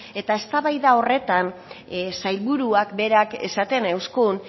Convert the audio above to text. eta eztabaida horretan sailburuak berak esaten euzkun